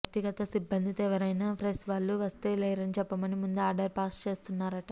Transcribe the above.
వ్యక్తిగత సిబ్బందితో ఎవరైనా ప్రెస్ వాళ్ళు వస్తే లేరని చెప్పమని ముందే ఆర్డర్ పాస్ చేస్తున్నారట